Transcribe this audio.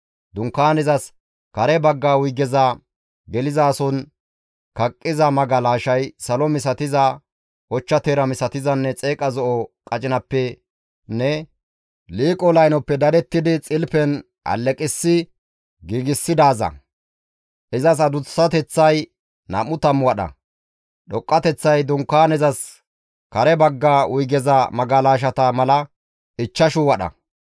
Dunkaanezas kare bagga wuygeza gelizason kaqqiza magalashay salo misatiza, ochcha teera misatizanne xeeqa zo7o qacinappenne liiqo laynoppe dadettidi xilpen alleqissi giigsidaaza. Izas adussateththay nam7u tammu wadha; dhoqqateththay Dunkaanezas kare bagga wuygeza magalashata mala ichchashu wadha.